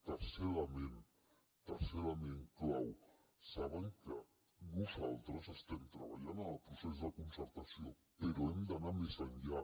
tercer element tercer element clau saben que nosaltres estem treballant en el procés de concertació però hem d’anar més enllà